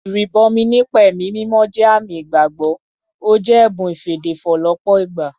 Ìrìbọmi nípa ẹ̀mí mímọ́ jẹ́ àmì ìgbàgbọ́, ó jẹ́ ẹ̀bùn ìfèdèfọ̀ lọ́pọ̀ ìgbà